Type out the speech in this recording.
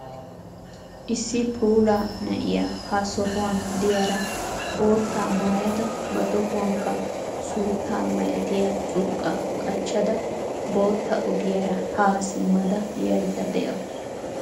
Issi puula na'iya ha sohuwan diyara boottaa maayada ba tohuwankka suutta malattiya curqqaa qachchada bootta ogiyara haa simmada yayida de'awusu.